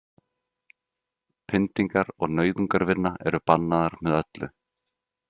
Pyndingar og nauðungarvinna eru bannaðar með öllu.